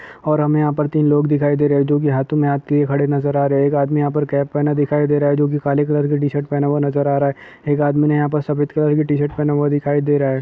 और हम यहाँ पर तीन लोग दिखाई दे रहे है औरतों के हाथों में हाथ लिए खड़े नजर आ रहे हैं एक आदमी यहाँ पर कैप पहना दिखाई दे रहा है जो की काले कलर की टीशर्ट पहना हुआ नजर आ रहा हैं एक आदमी ने यहाँ पर सफेद कलर की टीशर्ट पहना हुआ दिखाई दे रहा हैं।